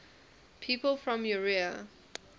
people from eure